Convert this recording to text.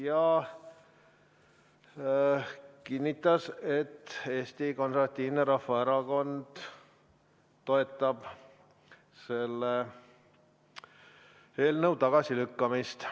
Ta kinnitas, et Eesti Konservatiivne Rahvaerakond toetab selle eelnõu tagasilükkamist.